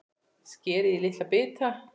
Skerið í litla bita.